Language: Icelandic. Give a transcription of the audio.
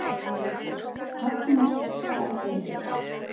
Hafnarstræti